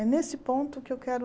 É nesse ponto que eu quero...